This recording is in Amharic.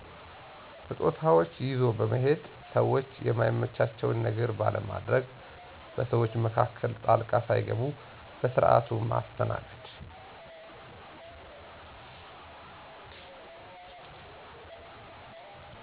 ስጦታዎች ይዞ በመሔድ፣ ሰዎቹ የማይመቻቸውን ነገር ባለማድግ፣ በሰዎች መካከል ጣልቃ ሣይገቡ በስርዓቱ መስተናገድ።